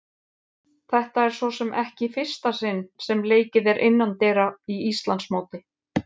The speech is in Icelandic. Þetta er svo sem ekki í fyrsta sinn sem leikið er innandyra í Íslandsmóti.